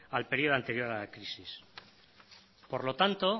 al periodo anterior a la crisis por lo tanto